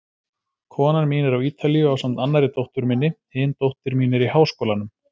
Konan mín er á Ítalíu ásamt annarri dóttur minni, hin dóttir mín er í háskólanum.